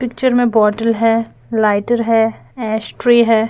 picture में बोतल है लाइटर है ऐशट्रे है--